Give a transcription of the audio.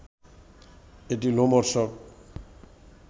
এটি লোমহর্ষক